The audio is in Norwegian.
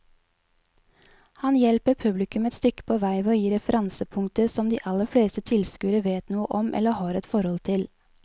Han hjelper publikum et stykke på vei ved å gi referansepunkter som de aller fleste tilskuere vet noe om eller har et forhold til.